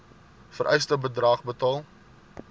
vereiste bedrag betaal